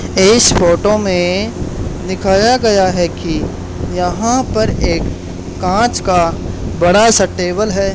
इस फोटो में दिखाया गया है कि यहां पर एक कांच का बड़ा सा टेबल है।